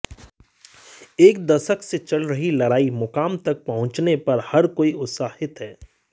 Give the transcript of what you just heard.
एक दशक से चल रही लड़ाई मुकाम तक पहुंचने पर हर कोई उत्साहित है